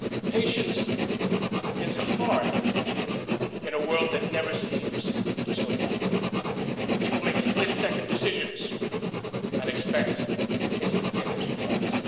Patience is hard in a world that never seems to slow down, where people make split second decisions and expect instantaneous results.